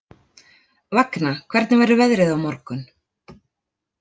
Vagna, hvernig verður veðrið á morgun?